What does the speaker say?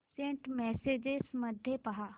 Saint messages मध्ये पहा